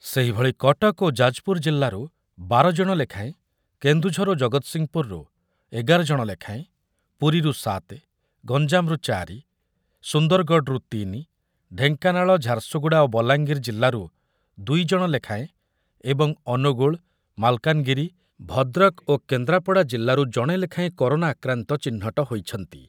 ସେହିଭଳି କଟକ ଓ ଯାଜପୁର ଜିଲ୍ଲାରୁ ବାର ଜଣ ଲେଖାଏଁ, କେନ୍ଦୁଝର ଓ ଜଗତ୍ସିଂହପୁରୁ ଏଗାର ଜଣ ଲେଖାଏଁ, ପୁରୀରୁ ସାତ ଜଣ, ଗଞ୍ଜାମରୁ ଚାରି ଜଣ, ସୁନ୍ଦରଗଡରୁ ତିନି ଜଣ, ଢେଙ୍କାନାଳ, ଝାରସୁଗୁଡ଼ା ଓ ବଲାଙ୍ଗିର ଜିଲ୍ଲାରୁ ଦୁଇ ଜଣ ଲେଖାଏଁ ଏବଂ ଅନୁଗୁଳ, ମାଲକାନଗିରି, ଭଦ୍ରକ ଓ କେନ୍ଦ୍ରାପଡ଼ା ଜିଲ୍ଲାରୁ ଜଣେ ଲେଖାଏଁ କରୋନା ଆକ୍ରାନ୍ତ ଚିହ୍ନଟ ହୋଇଛନ୍ତି ।